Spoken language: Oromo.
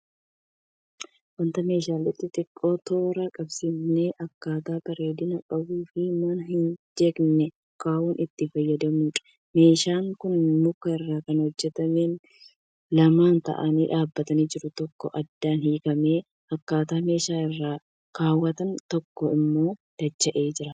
Wanta meeshaalee xixiqqoo toora qabsiisnee akkaataa bareedina qabuunifi mana hin jeeqneen kaawuf itti fayyadamnudha. Meeshaan kun muka irraa kan hojjatameefi lama ta'anii dhaabatanii jiru tokko adda hiikamee akkaataa meeshaa irra kaawamutti tokko immoo dacha'ee jira.